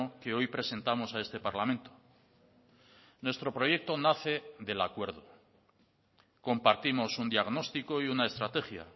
que hoy presentamos a este parlamento nuestro proyecto nace del acuerdo compartimos un diagnóstico y una estrategia